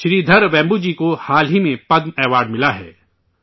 شری دھر ویمبوجی کو حال ہی میں پدم اعزاز ملا ہے